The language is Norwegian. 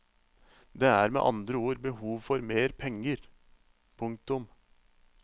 Det er med andre ord behov for mer penger. punktum